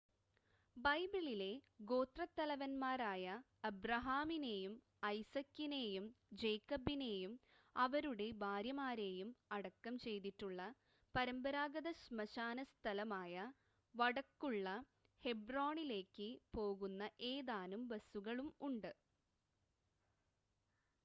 ബൈബിളിലെ ഗോത്രത്തലവന്മാരായ അബ്രഹാമിനെയും ഐസക്കിനെയും ജേക്കബിനെയും അവരുടെ ഭാര്യമാരെയും അടക്കം ചെയ്തിട്ടുള്ള പരമ്പരാഗത ശ്മശാന സ്ഥലമായ വടക്കുള്ള ഹെബ്രോണിലേക്ക് പോകുന്ന ഏതാനും ബസുകളും ഉണ്ട്